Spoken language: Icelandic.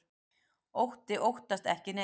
Otti óttast ekki neitt!